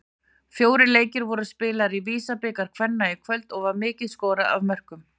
Fjórir leikir voru spilaðir í VISA-bikar kvenna í kvöld og var mikið skorað af mörkum.